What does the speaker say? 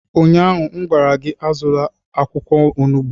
Ụnyahụ m gwara gị, azụla akwụkwọ onugbu!